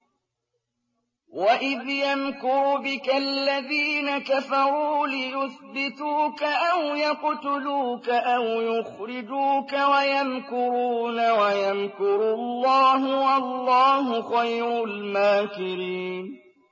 وَإِذْ يَمْكُرُ بِكَ الَّذِينَ كَفَرُوا لِيُثْبِتُوكَ أَوْ يَقْتُلُوكَ أَوْ يُخْرِجُوكَ ۚ وَيَمْكُرُونَ وَيَمْكُرُ اللَّهُ ۖ وَاللَّهُ خَيْرُ الْمَاكِرِينَ